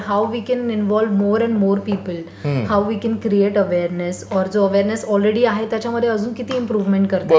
त्याच्यानंतर how we can involve more and more people. How we can create awareness or जो awareness already आहे त्याच्यामध्ये अजून किती इम्प्रोवेमेंट करता येईल.